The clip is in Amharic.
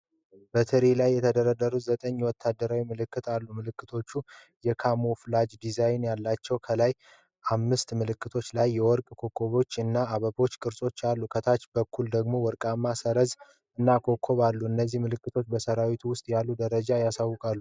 በትሪ ላይ የተደረደሩ ዘጠኝ ወታደራዊ ምልክቶች አሉ። ምልክቶቹ የካሞፍላጅ ዲዛይን አላቸው። ከላይ በአምስት ምልክቶች ላይ የወርቅ ኮከቦች እና የአበባ ቅርጾች አሉ። ከታች በኩል ደግሞ ወርቃማ ሰረዝ እና ኮከቦች አሉ። እነዚህ ምልክቶች በሠራዊት ውስጥ ያሉ ደረጃዎች ያሳውቃሉ።